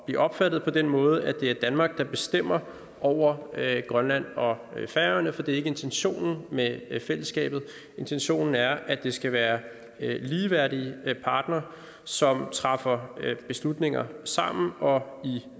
blive opfattet på den måde at det er danmark der bestemmer over grønland og færøerne for det er ikke intentionen med fællesskabet intentionen er at det skal være ligeværdige partnere som træffer beslutninger sammen og i